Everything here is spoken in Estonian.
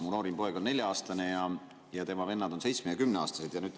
Mu noorim poeg on nelja-aastane ja tema vennad on seitsme‑ ja kümneaastased.